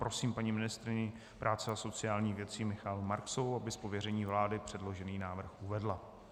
Prosím paní ministryni práce a sociálních věcí Michaelu Marksovou, aby z pověření vlády předložený návrh uvedla.